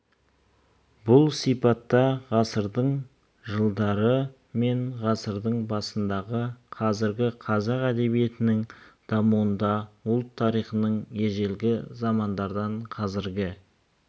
бұл сипатта ғасырдың жылдары мен ғасырдың басындағы қазіргі қазақ әдебиетінің дамуында ұлт тарихының ежелгі замандардан қазіргі